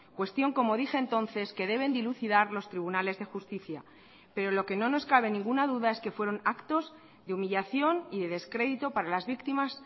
cuestión como dije entonces que deben dilucidar los tribunales de justicia pero lo que no nos cabe ninguna duda es que fueron actos de humillación y de descrédito para las víctimas